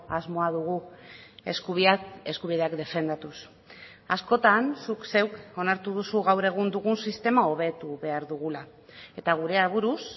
asmoa dugu eskubideak defendatuz askotan zuk zeuk onartu duzu gaur egun dugun sistema hobetu behar dugula eta gure aburuz